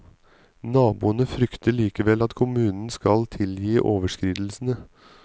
Naboene frykter likevel at kommunen skal tilgi overskridelsene.